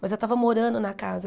Mas eu tava morando na casa.